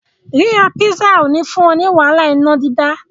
Ríra písà ò ní fún ọ ní wàhálà iná dídá.